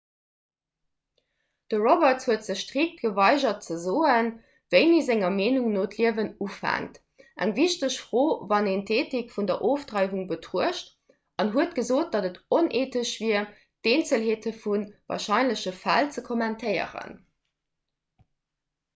de roberts huet sech strikt geweigert ze soen wéini senger meenung no d'liewen ufänkt eng wichteg fro wann een d'eethik vun der ofdreiwung betruecht an huet gesot datt et oneethesch wier d'eenzelheete vu warscheinleche fäll ze kommentéieren